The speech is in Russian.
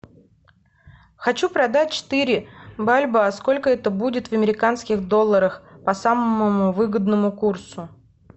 хочу продать четыре бальбоа сколько это будет в американских долларах по самому выгодному курсу